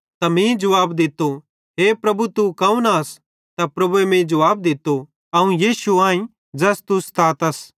त मीं जुवाब दित्तो हे प्रभु तू कौन आस त प्रभुए मीं जुवाब दित्तो अवं यीशु आईं ज़ैस तू सतातस